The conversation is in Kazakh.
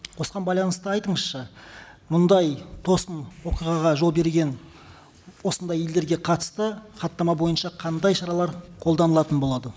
осыған байланысты айтыңызшы мұндай тосын оқиғаға жол берген осындай елдерге қатысты хаттама бойынша қандай шаралар қолданылатын болады